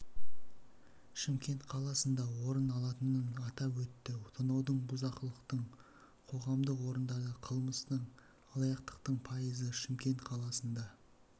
шымкент қаласында орын алатынын атап өтті тонаудың бұзақылықтың қоғамдық орындарда қылмыстың алаяқтықтың пайызы шымкент қаласында